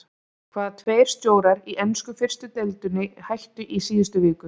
Hvaða tveir stjórar í ensku fyrstu deildinni hættu í síðustu viku?